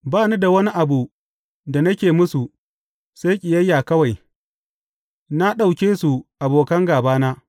Ba ni da wani abu da nake musu sai kiyaye kawai; na ɗauke su abokan gābana.